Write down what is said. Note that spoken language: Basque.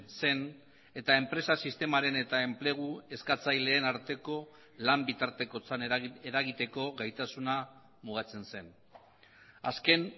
zen eta enpresa sistemaren eta enplegu eskatzaileen arteko lan bitartekotzan eragiteko gaitasuna mugatzen zen azken